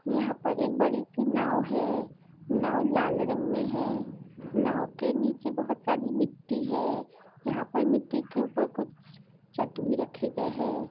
यहाँ पर एक बड़ी सी नाव है नाव लाल रंग मे है नाव के नीचे बहुत सारी मिट्टी है यहाँ पर मिट्टी के ऊपर कुछ चट भी रखे गए है।